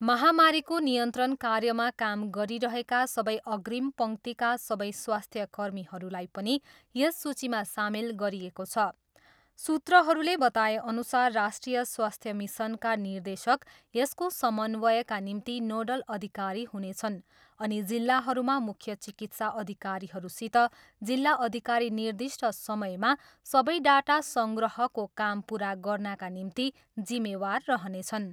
महामारीको नियन्त्रण कार्यमा काम गरिरहेका सबै अग्रिम पङ्क्तिका सबै स्वास्थ्य कर्मीहरूलाई पनि यस सूचीमा सामेल गरिएको छ। सूत्रहरूले बताएअनुसार राष्ट्रिय स्वास्थ्य मिसनका निर्देशक यसको समन्वयका निम्ति नोडल अधिकारी हुनेछन् अनि जिल्लाहरूमा मुख्य चिकित्सा अधिकारीहरूसित जिल्ला अधिकारी निर्दिष्ट समयमा सबै डाटा सङ्ग्रहको काम पुरा गर्नाका निम्ति जिम्मेवार रहनेछन्।